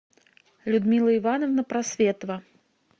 людмила ивановна просветова